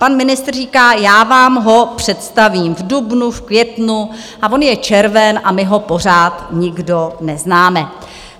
Pan ministr říká, já vám ho představím v dubnu, v květnu - a on je červen a my ho pořád nikdo neznáme.